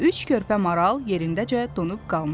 Üç körpə maral yerindəcə donub qalmışdı.